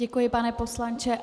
Děkuji, pane poslanče.